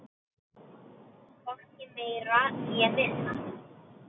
Hvorki meira né minna.